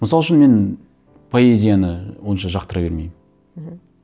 мысал үшін мен поэзияны онша жақтыра бермеймін мхм